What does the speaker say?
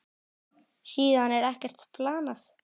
Síðan er ekkert planað.